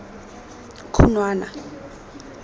khunwana